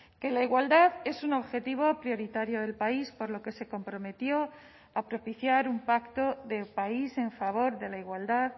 que la igualdad es un objetivo prioritario del país por lo que se comprometió a propiciar un pacto de país en favor de la igualdad